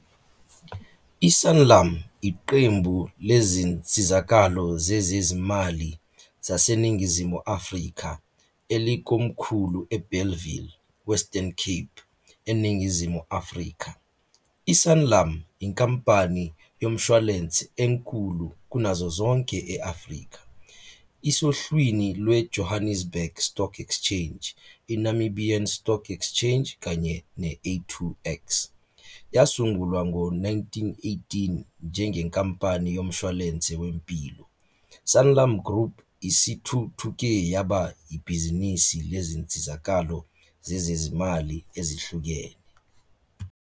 ISanlam yiqembu lezinsizakalo zezezimali zaseNingizimu Afrika elikomkhulu eBellville, Western Cape, eNingizimu Afrika. I-Sanlam yinkampani yomshwalense enkulu kunazo zonke e-Afrika. Isohlwini lweJohannesburg Stock Exchange, iNamibian Stock Exchange kanye ne - A2X. Yasungulwa ngo-1918 njengenkampani yomshwalense wempilo, Sanlam Group isithuthuke yaba yibhizinisi lezinsizakalo zezezimali ezihlukene.